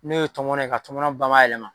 N'o ye tɔmɔnɔ ye ka tɔmɔnɔ bamayɛlɛma